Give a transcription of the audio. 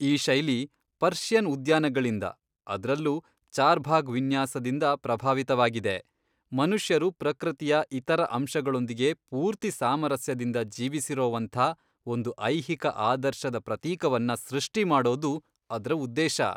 ಈ ಶೈಲಿ ಪರ್ಷಿಯನ್ ಉದ್ಯಾನಗಳಿಂದ, ಅದ್ರಲ್ಲೂ ಚಾರ್ಭಾಗ್ ವಿನ್ಯಾಸದಿಂದ, ಪ್ರಭಾವಿತವಾಗಿದೆ, ಮನುಷ್ಯರು ಪ್ರಕೃತಿಯ ಇತರ ಅಂಶಗಳೊಂದಿಗೆ ಪೂರ್ತಿ ಸಾಮರಸ್ಯದಿಂದ ಜೀವಿಸಿರೋವಂಥ ಒಂದು ಐಹಿಕ ಆದರ್ಶದ ಪ್ರತೀಕವನ್ನ ಸೃಷ್ಟಿಮಾಡೋದು ಅದ್ರ ಉದ್ದೇಶ.